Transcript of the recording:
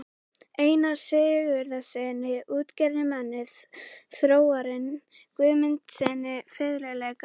Einari Sigurðssyni útgerðarmanni, Þórarni Guðmundssyni fiðluleikara